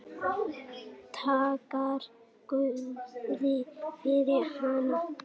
Þakkar guði fyrir hana.